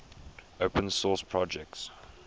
open source projects